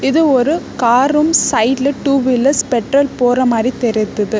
இது ஒரு காரும் சைடுல டூ வீலர்ஸ் பெட்ரோல் போற மாரி தெரிதுது.